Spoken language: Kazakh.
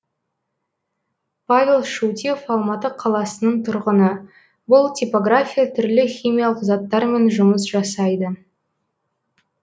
павел шутьев алматы қаласының тұрғыны бұл типография түрлі химиялық заттармен жұмыс жасайды